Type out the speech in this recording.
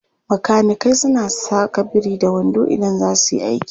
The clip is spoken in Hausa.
Makanikai suna saka biri-da-wando idan za su yi aiki.